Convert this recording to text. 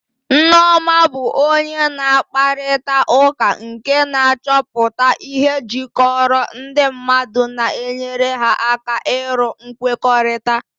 Nneoma bụ onye na-akparịta ụka nke na-achọpụta ihe jikọrọ ndị mmadụ na-enyere ha aka iru nkwekọrịta.